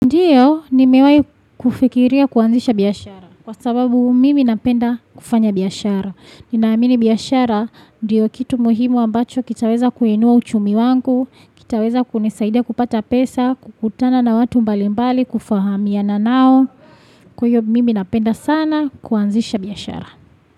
Ndiyo nimewahi kufikiria kuanzisha biashara kwa sababu mimi napenda kufanya biashara. Ninaamini biashara ndiyo kitu muhimu ambacho kitaweza kuinua uchumi wangu, kitaweza kunisaidia kupata pesa, kukutana na watu mbalimbali, kufahamiana naò Kwa hiyo mimi napenda sana kuanzisha biashara.